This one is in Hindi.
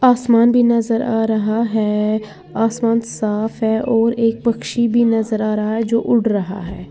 आसमान भी नजर आ रहा है आसमान साफ है और एक पक्षी भी नजर आ रहा है जो उड़ रहा है।